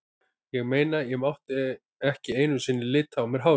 Ég meina, ég mátti ekki einu sinni lita á mér hárið.